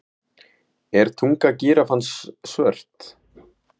Er tunga gíraffans svört?